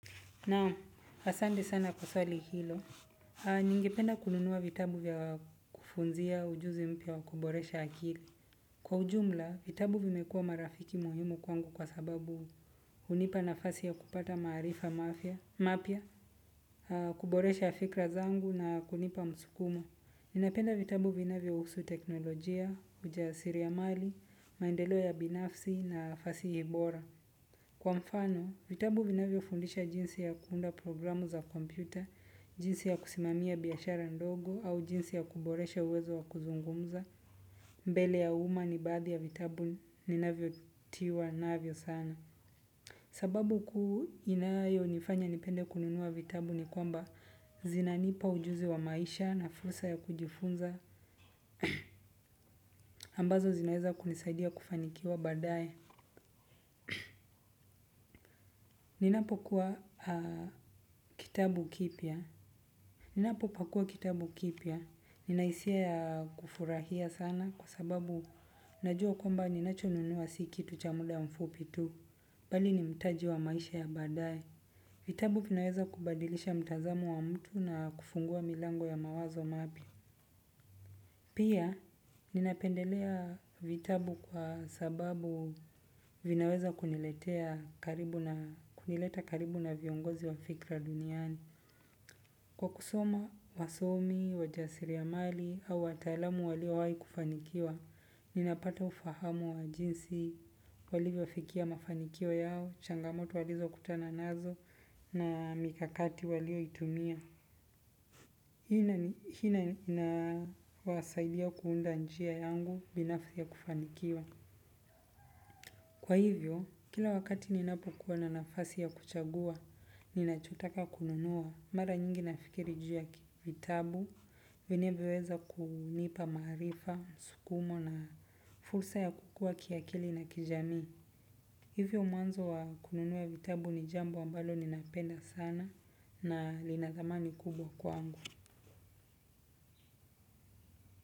Naam, asante sana kwa swali hilo. Ningependa kununua vitabu vya kufunzia ujuzi mpya wa kuboresha akili. Kwa ujumla, vitabu vimekuwa marafiki muhimu kwangu kwa sababu hunipa nafasi ya kupata maarifa mafya, mapya, kuboresha fikra zangu na kunipa msukumo. Ninapenda vitabu vinavyohusu teknolojia, ujasiri ya mali, maendeleo ya binafsi na fasihi bora. Kwa mfano, vitabu vinavyofundisha jinsi ya kuunda programu za kompyuta, jinsi ya kusimamia biashara ndogo au jinsi ya kuboresha uwezo wa kuzungumza. Mbele ya umma ni baadhi ya vitabu ninavyo tiwa navyo sana. Sababu kuu inayonifanya nipende kununua vitabu ni kwamba zinanipa ujuzi wa maisha na fursa ya kujifunza ambazo zinaweza kunisaidia kufanikiwa baadaye. Ninapokuwa kitabu kipya. Ninapopakua kitabu kipya, nina hisia ya kufurahia sana kwa sababu najua kwamba ninachonunua si kitu cha muda mfupi tu, bali ni mtaji wa maisha ya baadae. Vitabu vinaweza kubadilisha mtazamo wa mtu na kufungua milango ya mawazo mapya. Pia, ninapendelea vitabu kwa sababu vinaweza kunileta karibu na viongozi wa fikra duniani. Kwa kusoma wasomi, wajasiri ya mali, au wataalamu waliowahi kufanikiwa, ninapata ufahamu wa jinsi walivyofikia mafanikio yao, changamoto walizokutana nazo, na mikakati walioitumia. Hii inawasaidia kuunda njia yangu binafsi ya kufanikiwa. Kwa hivyo, kila wakati ninapokuwa na nafasi ya kuchagua, ninachotaka kununua mara nyingi nafikiri juu ya vitabu, vinavyoweza kunipa maarifa, msukumo na fursa ya kukua kiakili na kijamii. Hivyo mwanzo wa kununua vitabu ni jambo ambalo ninapenda sana na lina thamani kubwa kwangu.